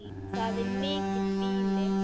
Það er mikið býli.